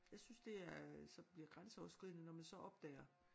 Jeg synes det er øh så bliver grænseoverskridende når man så opdager